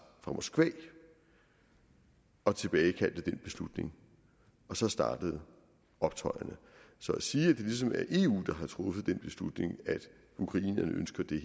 fra moskva og tilbagekaldte den beslutning og så startede optøjerne så at sige at det ligesom er eu der har truffet den beslutning at ukrainerne ønsker det